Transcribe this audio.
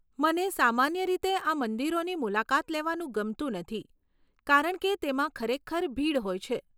મને સામાન્ય રીતે આ મંદિરોની મુલાકાત લેવાનું ગમતું નથી કારણ કે તેમાં ખરેખર ભીડ હોય છે.